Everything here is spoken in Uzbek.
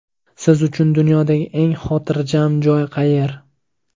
Siz uchun dunyodagi eng xotirjam joy qayer?